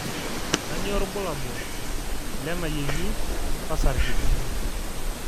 kanyio irbulabul le enaiyengi osarge